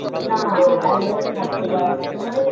না একদমই থাকতে পারে না গো